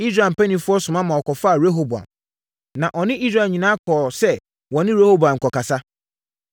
Israel mpanimfoɔ soma maa wɔkɔfaa Yeroboam, na ɔne Israel nyinaa kɔɔ sɛ wɔne Rehoboam rekɔkasa.